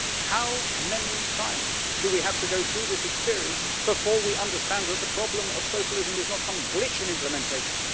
How many times do we have to go through this experience before we understand that the problem of socialism is not some glittering implementation.